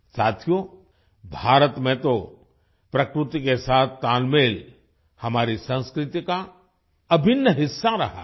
साथियो भारत में तो प्रकृति के साथ तालमेल हमारी संस्कृति का अभिन्न हिस्सा रहा है